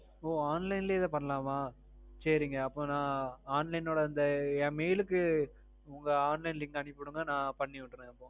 ஓ online லயே இத பண்ணலாமா. சேரிங்க அப்போ நான் online ஓட இந்த என் mail க்கு உங்க online link அனுப்பி விடுங்க நான் பண்ணி விடுறேன் அப்போ.